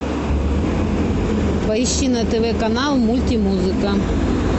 поищи на тв канал мультимузыка